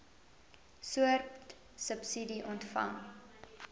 soort subsidie ontvang